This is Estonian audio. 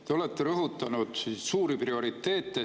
Te olete rõhutanud siin suuri prioriteete.